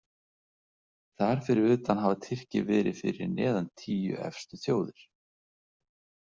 Þar fyrir utan hafa Tyrkir verið fyrir neðan tíu efstu þjóðir.